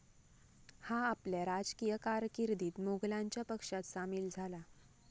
हा आपल्या राजकीय कारकिर्दीत मोघलांच्या पक्षात सामील झाला.